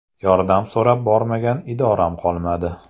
Yordam so‘rab bormagan idoram qolmadi.